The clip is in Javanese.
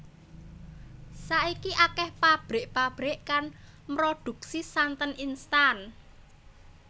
Saiki akéh pabrik pabrik kang mroduksi santen instan